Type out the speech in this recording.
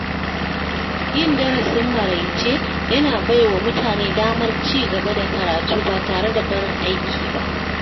Yin darasin maraice yana bai wa mutane damar ci gaba da karatu ba tare da barin aiki ba.